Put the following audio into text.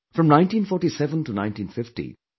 From 1947 to 1950, Dr